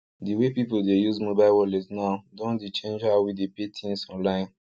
the way people dey use mobile wallet now don dey change how we dey paythings online